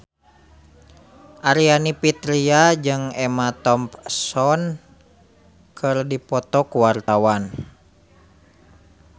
Aryani Fitriana jeung Emma Thompson keur dipoto ku wartawan